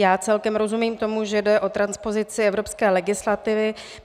Já celkem rozumím tomu, že jde o transpozici evropské legislativy.